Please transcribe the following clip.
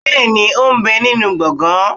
bẹẹni ó n bẹ ninú gbọgan